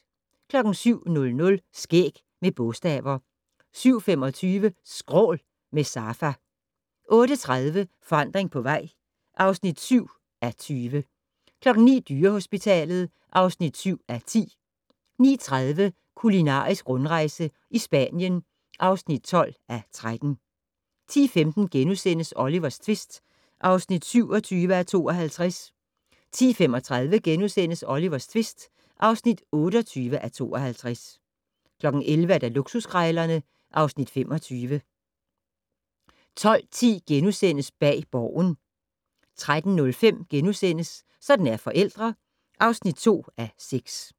07:00: Skæg med bogstaver 07:25: Skrål - med Safa 08:30: Forandring på vej (7:20) 09:00: Dyrehospitalet (7:10) 09:30: Kulinarisk rundrejse i Spanien (12:13) 10:15: Olivers tvist (27:52)* 10:35: Olivers tvist (28:52)* 11:00: Luksuskrejlerne (Afs. 25) 12:10: Bag Borgen * 13:05: Sådan er forældre (2:6)*